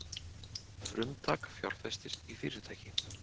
Frumtak fjárfestir í fyrirtæki